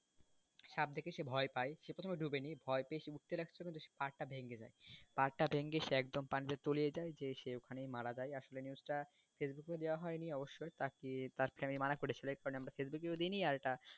সাপ দেখে সে প্রথমে ভয় পায় সে প্রথমে ঢোকেনি ভয় পেয়ে সে উঠতে লাগছে সে তখন পাড় টা ভেঙে যায় ভেঙে একদম পাঞ্জায় তুলিয়ে যায় তলিয়ে গিয়ে একদম ওখানেই মারা যায় আসলে জিনিসটা news টা facebook এ দেওয়া হয়নি অবশ্যই তাকে তার মা মানা করেছিলো